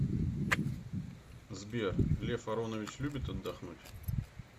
сбер лев аронович любит отдохнуть